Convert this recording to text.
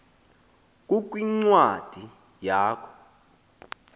kukhw incwadi yakho